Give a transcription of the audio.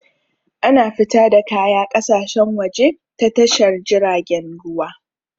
Ana fita da kaya ƙasashen waje ta Tashar jiragen ruwa.